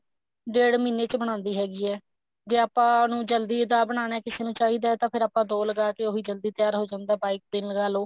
ਡੇਡ ਮਹੀਨੇ ਚ ਬਣਾਉਂਦੀ ਹੈਗੀ ਹੈ ਜੇ ਉਹਨੂੰ ਜਲਦੀ ਆਪਾਂ ਬਣਾਉਣਾ ਕਿਸੇ ਨੂੰ ਚਾਹੀਦਾ ਤਾਂ ਫ਼ੇਰ ਆਪਾਂ ਦੋ ਲਗਾ ਕੇ ਉਹੀ ਜਲਦੀ ਤਿਆਰ ਹੋ ਜਾਂਦਾ ਚਾਹੇ ਤਿੰਨ ਲਗਾਲੋ